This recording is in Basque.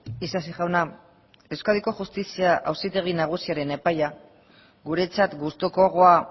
isasi jauna euskadiko justizia auzitegi nagusiaren epaia guretzat gustukoagoa